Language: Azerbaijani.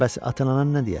Bəs atan anan nə deyər?